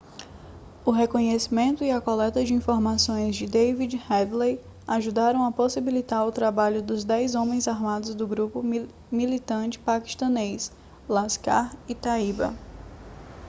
o reconhecimento e a coleta de informações de david headley ajudaram a possibilitar o trabalho dos 10 homens armados do grupo militante paquistanês laskhar-e-taiba